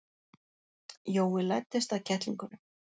Jói læddist að kettlingunum.